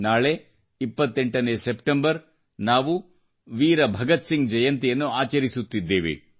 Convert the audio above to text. ನಾಳೆ 28ನೇ ಸೆಪ್ಟೆಂಬರ್ದಂದು ನಾವು ವೀರಯೋಧ ಭಗತ್ಸಿಂಗ್ ಜಯಂತಿಯನ್ನು ಆಚರಿಸುತ್ತಿದ್ದೇವೆ